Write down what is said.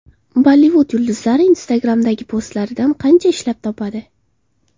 Bollivud yulduzlari Instagram’dagi postlaridan qancha ishlab topadi?.